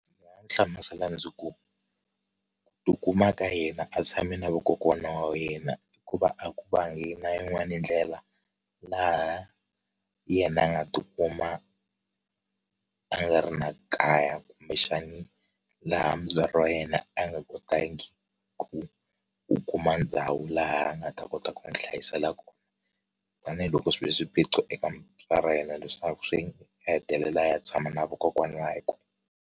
Ndzi nga n'wi hlamusela ndzi ku ti kuma ka yena a tshame na vakokwana wa yena hikuva a ku vangi na yin'wani ndlela laha na yena a nga ti kuma a nga ri na kaya kumbexani laha mutswari wa yena a nga kotangi ku u kuma ndhawu laha a ta kota ku n'wi hlayisela koho a ni loko swi ve swiphiqo eka vatswari va yena leswaku swi hetelela a ya tshama na vakokwana wakwe.